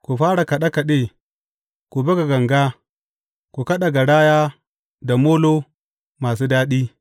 Ku fara kaɗe kaɗe, ku buga ganga, ku kaɗa garaya da molo masu daɗi.